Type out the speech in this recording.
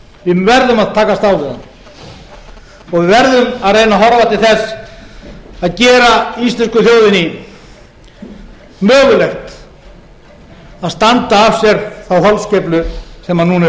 við verðum að takast á við hann og við verðum að reyna að horfa til þess að að gera íslensku þjóðinni mögulegt að standa af sér þá holskeflu sem núna er framundan